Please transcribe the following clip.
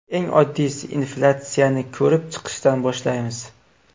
Eng oddiysi inflyatsiyani ko‘rib chiqishdan boshlaymiz.